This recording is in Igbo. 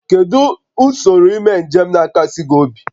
Kedu n'ime usoro njem na-akasi gị obi?